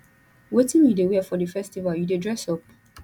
wetin you dey wear for di festival you dey dress up